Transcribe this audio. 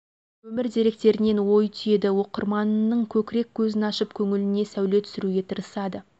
өмір деректерінен ой түйеді оқырманының көкірек көзін ашып көңіліне сәуле түсіруге тырысады